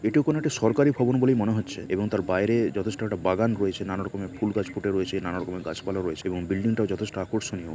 এটিও কোন একটি সরকারি ভবন বলেই মনে হচ্ছে এবং তার বাইরে যথেষ্ট একটা বাগান রয়েছে নানা রকমের ফুল গাছ ফুটে রয়েছে নানা রকমের গাছপালা রয়েছে এবং বিল্ডিংটাও যথেষ্ট আকর্ষণীয়।